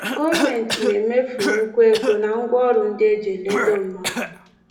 Gọọmenti na-emefu nnukwu ego na ngwaọrụ ndị e ji eledo mmadụ.